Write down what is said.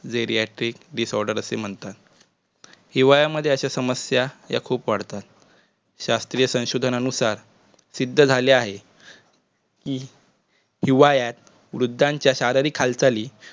geriratric disorders असं म्हणतात. हिवाळ्यामध्ये अशा समस्या या खुप वाढतात. शास्त्रीय संशोधनानुसार सिद्ध झाले आहे की हिवाळ्यात वृद्धांच्या शारीरिक हालचाली